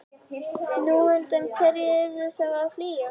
Nú, undan hverju ertu þá að flýja?